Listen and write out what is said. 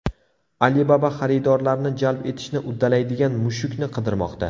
Alibaba xaridorlarni jalb etishni uddalaydigan mushukni qidirmoqda.